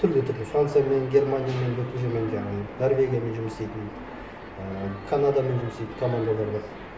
түрлі түрлі франциямен германиямен өтіп жүрген жаңағы норвегиямен жұмыс істейтін і канадамен жұмыс істейтін командалар бар